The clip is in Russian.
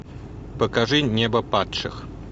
покажи небо падших